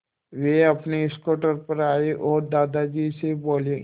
वे अपने स्कूटर पर आए और दादाजी से बोले